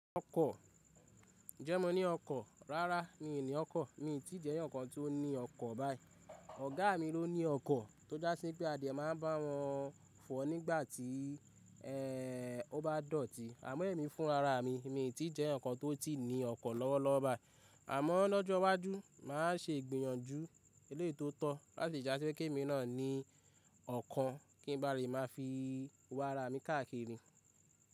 Ọkọ̀? Ǹjẹ́ mo ní ọkọ̀? Rárá mi ò ní ọkọ̀. Mi ò tí jẹ́ eẹyan kan tó ní ọkọ̀ báyìí. Ọ̀gá mi ló ní ọkọ̀ tó já sí pé a devmáa n bá wọn fò nígbàtí ó bá dọ̀tí. Àmọ́ ẹ̀mí fún ara mi, mi ò tí jẹ́ ẹnìkan tó ti ní ọkọ̀ lọ́wọ́lọ́wọ́ báyìí. Àmọ́ lọ́jọ́ iwájú, màá ṣe ìgbìyànjú eléyii tóótọ́ láti dá sí pé kí èmi náà ní ọkọ̀ kí n ba rí máa fi wá ará mi káàkiri.